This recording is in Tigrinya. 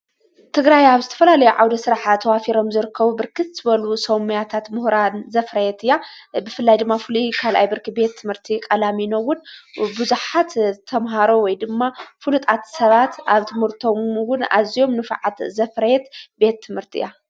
ትግራይ ኣብ ስተፈላለዮ ዓውደ ሥራሐ ተዋፊሮም ዝርከቡ ብርክቲ በል ሰውማያታት ምህራን ዘፍረየት እያ ብፍላይ ድማ ፍሉ ካልኣይ ብርኪ ቤት ትምህርቲ ቐላሚኖውን ብዙኃት ተምሃሮ ወይ ድማ ፍሉጣት ሰባት ኣብ ቲሙርቶምውን ኣዚኦም ንፍዓት ዘፈረየት ቤት ትምህርቲ እያ።